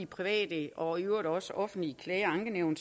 private og i øvrigt også offentlige klage og ankenævn